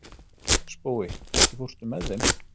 Spói, ekki fórstu með þeim?